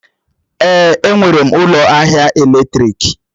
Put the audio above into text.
Èé, enwere m ụlọ ahịa èlétrị̀k.